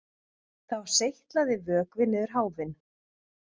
Þá seytlaði vökvi niður háfinn